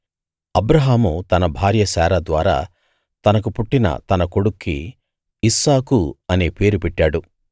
అబ్రాహాము తన భార్య శారా ద్వారా తనకు పుట్టిన తన కొడుక్కి ఇస్సాకు అనే పేరు పెట్టాడు